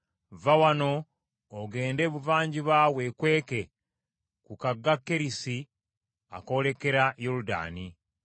“Vva wano ogende ebuvanjuba weekweke ku kagga Kerisi akoolekera Yoludaani.